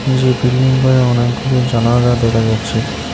যে বিল্ডিং -গুলোর অনেকগুলো জানালা দেখা যাচ্ছে।